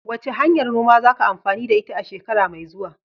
Wace hanyar noma zaka amfani da ita a shekara mai zuwa?